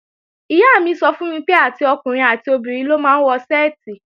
Ìyá mi sọ fún mi pé, àti ọkùnrin àti obìnrin ló máa ń wọ ṣẹ́ẹ̀tì